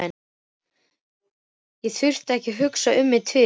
Ég þurfti ekki að hugsa mig um tvisvar.